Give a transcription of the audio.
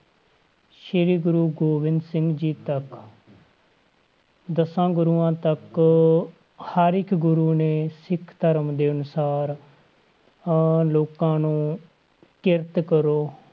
ਸ੍ਰੀ ਗੁਰੂ ਗੋਬਿੰਦ ਸਿੰਘ ਜੀ ਤੱਕ ਦਸਾਂ ਗੁਰੂਆਂ ਤੱਕ ਹਰ ਇੱਕ ਗੁਰੂ ਨੇ ਸਿੱਖ ਧਰਮ ਦੇ ਅਨੁਸਾਰ ਅਹ ਲੋਕਾਂ ਨੂੰ ਕਿਰਤ ਕਰੋ,